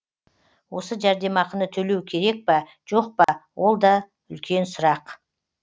осы жәрдемақыны төлеу керек па жоқ па ол да үлкен сұрақ